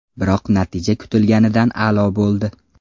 Biroq natija kutilganidan a’lo bo‘ldi.